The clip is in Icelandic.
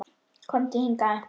Komdu hingað